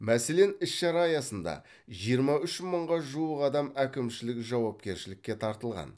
мәселен іс шара аясында жиырма үш мыңға жуық адам әкімшілік жауапкершілікке тартылған